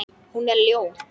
Hún er ljót.